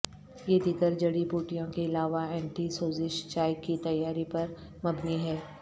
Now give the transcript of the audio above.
یہ دیگر جڑی بوٹیوں کے علاوہ اینٹی سوزش چائے کی تیاری پر مبنی ہے